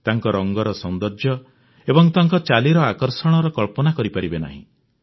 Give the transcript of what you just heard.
ତାଙ୍କ ରଙ୍ଗର ସୌନ୍ଦର୍ଯ୍ୟ ଏବଂ ତାଙ୍କ ଚାଲିର ଆକର୍ଷଣର କଳ୍ପନା କରିପାରିବେ ନାହିଁ